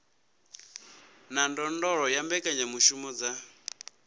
na ndondolo ya mbekanyamushumo dza